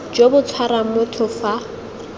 jo bo tshwarang motho fa